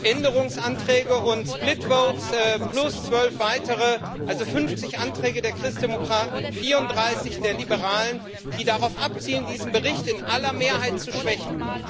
Änderungsanträge und split votes plus 12 weitere, also 50 Anträge der Christdemokraten, 34 der Liberalen, die darauf abzielen, diesen Bericht in aller Mehrheit zu schwächen.